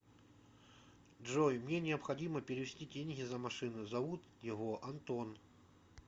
джой мне необходимо перевести деньги за машину зовут его антон